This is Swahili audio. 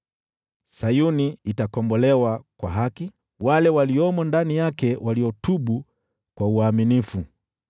Sayuni itakombolewa kwa haki, wale waliomo ndani yake waliotubu kwa uaminifu.